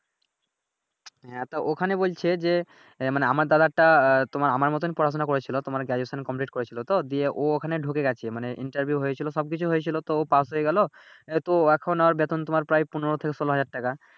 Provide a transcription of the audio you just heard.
হ্যাঁ তো ওইখানে বলছে যে মানে আমার দাদাটা তোমার আমার মতন ই পড়াশুনা করেছিলো তোমার Graduation কমপ্লিট করেছিলো তো দিয়ে অ ঐখানে ডুকে গেছে মানে Interview হয়েছিলো সব কিছু হয়েছিলো তো ও পাশ হয়ে গেলো তো এখন আর বেতন তোমার প্রায় পনেরো থেকে ষোল হাজার টাকা